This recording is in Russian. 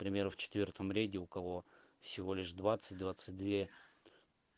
к примеру в четвёртом ряде у кого всего лишь двадцать двадцать две